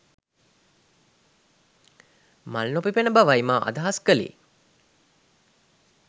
මල් නොපිපෙන බවයි මා අදහස් කලේ